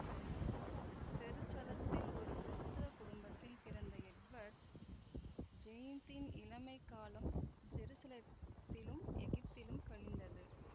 செருசலத்தில் ஒரு கிறிஸ்தவக் குடும்பத்தில் பிறந்த எட்வர்ட் ஜெயிந்த்தின் இளமைக் காலம் ஜெருசலத்திலும் எகிப்திலும் கழிந்தது